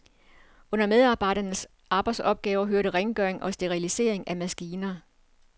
Under medarbejdernes arbejdsopgaver hørte rengøring og sterilisering af maskiner.